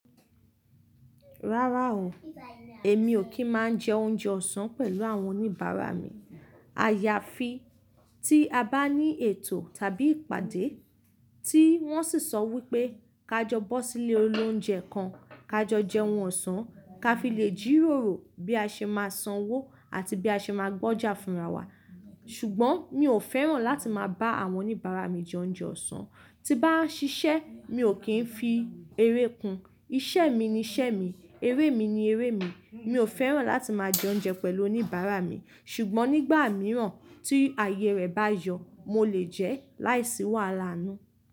Rárá o, èmi ò kí máa jẹ oúnjẹ ọ̀sán pẹ̀lú àwọn oníbàárà mi. Àyàfi tí a bá ní ètò tàbí ìpàdé tí wọ́n sì sọ wípé ka jọ bọ́ sílé olóúnjẹ kan, ka jọ jẹ oun ọ̀sán, ká fi lè jìròrò bí a ṣe máa sanwó àti bí a ṣe máa gbọ́jà fúnra wa. Ṣùgbọ́n mi ò fẹ́ràn láti máa bá àwọn oníbàárà mi jẹ oúnjẹ ọ̀sán. Tí bá ń ṣiṣẹ́ mi ò kí ń fi eré kun. Iṣẹ́ mi ni iṣẹ́ mi, eré mi ni eré mi. Mi ò fẹ́ràn láti máa jẹ oúnjẹ pẹ̀lú oníbàárà mi. Ṣùgbọ́n nígbà mìíràn tí ààyè rẹ̀ bá yọ̀, mo lè jẹ ẹ́ láìsí wàhálà náà.